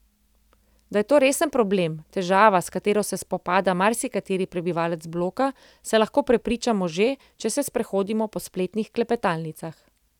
Da je to resen problem, težava, s katero se spopada marsikateri prebivalec bloka, se lahko prepričamo že, če se sprehodimo po spletnih klepetalnicah.